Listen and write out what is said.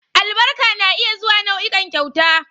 Albarka na iya zuwa nau'ikan kyauta